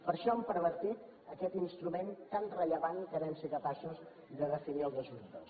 per això han pervertit aquest instrument tan rellevant que vam ser capaços de definir el dos mil dos